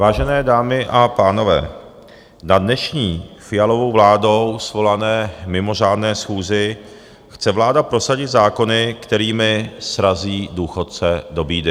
Vážené dámy a pánové, na dnešní Fialovou vládou svolané mimořádné schůzi chce vláda prosadit zákony, kterými srazí důchodce do bídy.